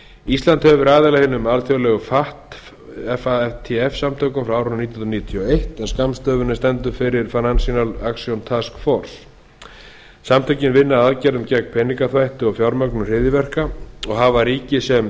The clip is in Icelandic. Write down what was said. ísland hefur verið aðili að hinum alþjóðlegu fatf samtökum frá árinu nítján hundruð níutíu og eitt en skammstöfunin stendur fyrir financial action task force samtökin vinna að aðgerðum gegn peningaþvætti og fjármögnun hryðjuverka og hafa ríki sem